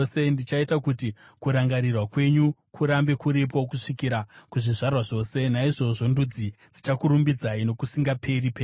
Ndichaita kuti kurangarirwa kwenyu kurambe kuripo, kusvikira kuzvizvarwa zvose; naizvozvo ndudzi dzichakurumbidzai nokusingaperi-peri.